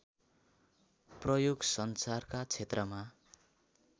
प्रयोग संचारका क्षेत्रमा